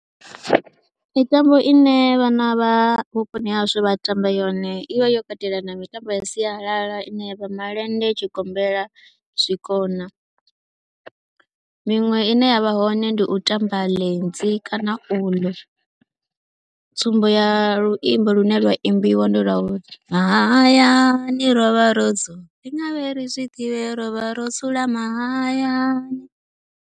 Mitambo ine vhana vha vhuponi ha hashu vha tamba yone i vha yo katela na mitambo ya sialala ine ya vha malende, tshigombela, zwikona. Miṅwe ine ya vha hone ndi u tamba lenzi kana uḽu, tsumbo ya luimbo lune lwa imbiwa ndi lwa uri, mahayani ro vha ro dzula, u nga ri ri vhe ri zwi ḓivhe ro vha ro dzula mahayani.